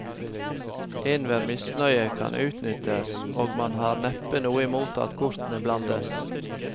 Enhver misnøye kan utnyttes, og man har neppe noe imot at kortene blandes.